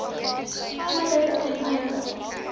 kodes ten einde